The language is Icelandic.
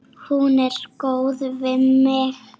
Hún er góð við mig.